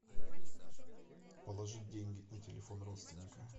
положить деньги на телефон родственника